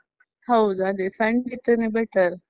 ಹೌದು ಅದೆ, Sunday ಇಟ್ರೇನೆ better .